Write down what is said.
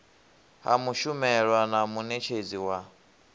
ha mushumelwa na munetshedzi wa